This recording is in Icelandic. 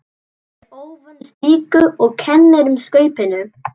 Er óvön slíku og kennir um Skaupinu.